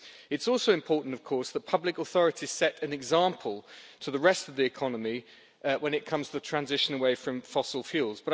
It is also important, of course, that public authorities set an example to the rest of the economy when it comes to the transition away from fossil fuels.